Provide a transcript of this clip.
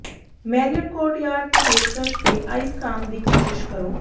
Marriott Courtyard ਤੇ ਪੇਸ਼ਕਸ਼ ਤੇ ਆਈਸ ਕ੍ਰਾਮ ਦੀ ਕੋਸ਼ਿਸ਼ ਕਰੋ